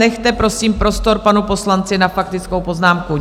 Nechte prosím prostor panu poslanci na faktickou poznámku.